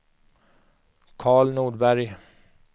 Karl Nordberg